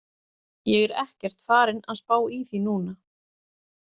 Ég er ekkert farinn að spá í því núna.